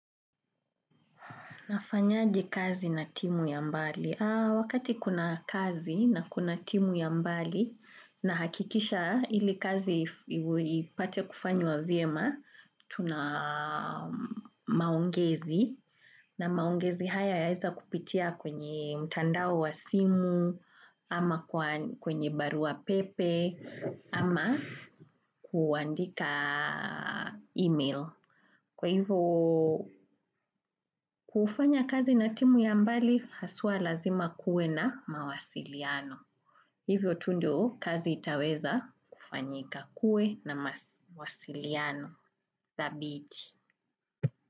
Nafanyaje kazi na timu ya mbali. Wakati kuna kazi na kuna timu ya mbali nahakikisha ili kazi ipate kufanywa vyema, tuna maongezi na maongezi haya yaweza kupitia kwenye mtandao wa simu ama kwenye barua pepe ama kuandika email. Kwa hivyo, kufanya kazi natimu ya mbali, haswa lazima kuwe na mawasiliano. Hivyo tu ndio, kazi itaweza kufanyika kuwe na mawasiliano thabiti.